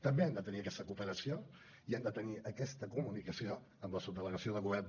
també hem de tenir aquesta cooperació i hem de tenir aquesta comunicació amb la subdelegació del govern